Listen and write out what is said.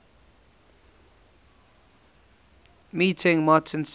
meeting martin says